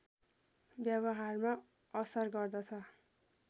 व्यवहारमा असर गर्दछ